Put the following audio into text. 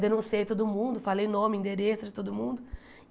Denunciei todo mundo, falei nome, endereço de todo mundo.